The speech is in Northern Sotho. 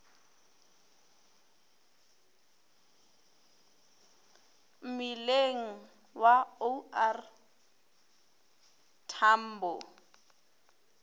mmileng wa o r tambo